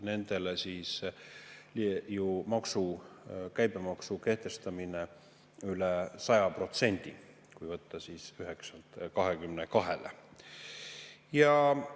Nendele on siis ju käibemaksu üle 100%, kui võtta, et see 9%‑lt 22%‑le.